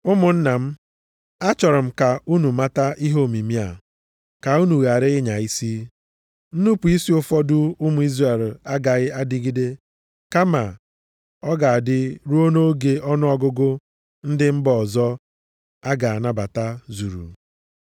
Ụmụnna m, achọrọ m ka unu mata ihe omimi a, ka unu ghara ịnya isi. Nnupu isi ụfọdụ ụmụ Izrel agaghị adịgide kama ọ ga-adị ruo nʼoge ọnụọgụgụ ndị mba ọzọ a ga-anabata zuru.